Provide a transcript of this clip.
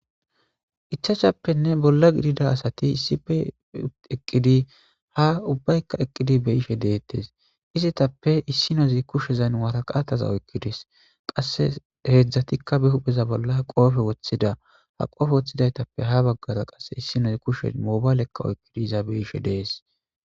Ichchachppe bolla giddi asati issippe eqqidi ha ubbayka eqqidi beishe dettes izetappe issinozi kushshezan waraqata oyqqides qasse heezhzhatikka be huphpheza bolla qoppe woththida ha qoppe woththidaytappe issinozi kushshen mobale oykkidi iza beishshe dees.